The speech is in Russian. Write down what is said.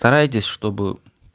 старайтесь чтобы